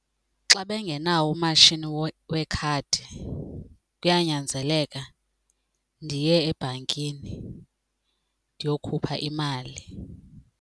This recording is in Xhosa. Xa bengenawo umashini wekhadi kuyanyanzeleka ndiye ebhankini ndiyokhupha imali.